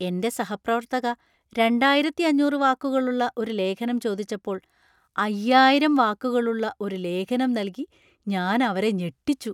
എന്‍റെ സഹപ്രവർത്തക രണ്ടായിരത്തി അഞ്ഞൂറ് വാക്കുകളുള്ള ഒരു ലേഖനം ചോദിച്ചപ്പോൾ അയ്യായിരം വാക്കുകളുള്ള ഒരു ലേഖനം നൽകി ഞാൻ അവരെ ഞെട്ടിച്ചു.